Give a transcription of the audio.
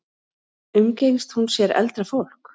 Umgengst hún sér eldra fólk?